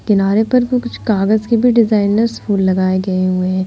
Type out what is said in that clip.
किनारे पर भी कुछ कागज के भी डिजाइनर्स फूल लगाए गए हुए हैं।